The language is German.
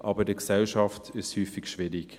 Aber in der Gesellschaft ist es häufig schwierig.